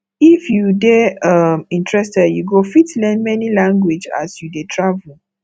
if you dey um interested you go fit learn many language as you dey travel